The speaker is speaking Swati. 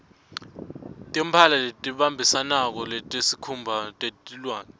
timphala lebatimbatsako tesikhumba teliwane